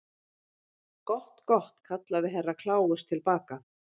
Gott, gott, kallaði Herra Kláus til baka.